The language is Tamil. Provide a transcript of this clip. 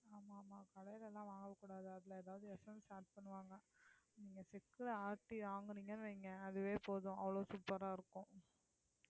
ஆமா ஆமா கடைல எல்லாம் வாங்க கூடாது அதுல எதாவது essence add பண்ணுவாங்க, நீங்க செக்குல ஆட்டி வாங்குனீங்கன்னு வைங்க அதுவே போதும் அவ்வளவு super ஆ இருக்கும்